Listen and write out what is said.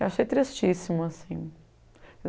Eu achei tristíssimo assim.